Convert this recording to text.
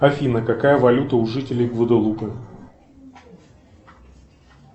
афина какая валюта у жителей гваделупы